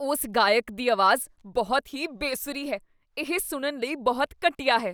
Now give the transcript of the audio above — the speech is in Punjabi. ਉਸ ਗਾਇਕ ਦੀ ਆਵਾਜ਼ ਬਹੁਤ ਹੀ ਬੇ ਸੁਰੀ ਹੈ ਇਹ ਸੁਣਨ ਲਈ ਬਹੁਤ ਘਟੀਆ ਹੈ